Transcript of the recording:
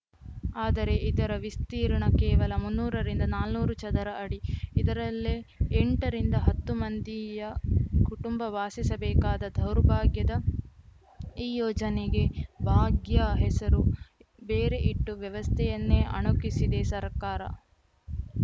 ಆದರೆ ಇದರ ವಿಸ್ತೀರ್ಣ ಕೇವಲ ಮುನ್ನೂರ ರಿಂದ ನಾನ್ನೂರು ಚದರ ಅಡಿ ಇದರಲ್ಲೇ ಎಂಟ ರಿಂದ ಹತ್ತು ಮಂದಿಯ ಕುಟುಂಬ ವಾಸಿಸಬೇಕಾದ ದೌರ್ಭಾಗ್ಯದ ಈ ಯೋಜನೆಗೆ ಭಾಗ್ಯ ಹೆಸರು ಬೇರೆ ಇಟ್ಟು ವ್ಯವಸ್ಥೆಯನ್ನೇ ಅಣಕಿಸಿದೆ ಸರ್ಕಾರ